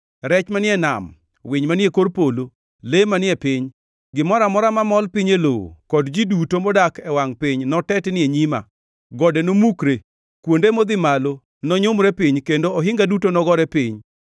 Rech manie nam, winy manie kor polo, le manie piny, gimoro amora mamol piny e lowo kod ji duto modak e wangʼ piny notetni e nyima. Gode nomukre, kuonde modhi malo nonyumre piny kendo ohinga duto nogore piny.